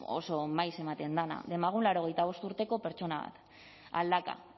oso maiz ematen dena demagun laurogeita bost urteko pertsona bat aldaka